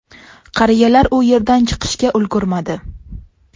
Qariyalar u yerdan chiqishga ulgurmadi.